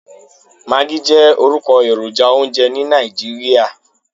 Maggi jẹ́ orúkọ èròjà oúnjẹ ní Nàìjíríà.